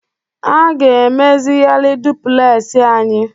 A ga-emezigharị dupulesị anyị.